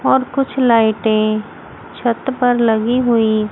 और कुछ लाईटें छत पर लगी हुई--